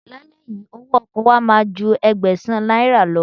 Lálẹ́ yìí, owó ọkọ̀ wa máa ju Ẹgbẹ̀sán náírà lọ.